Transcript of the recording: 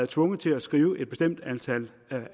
tvunget til at skrive et bestemt antal